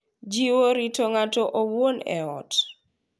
Jiwo rito ng’ato owuon e ot